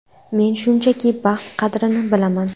Men, shunchaki, baxt qadrini bilaman.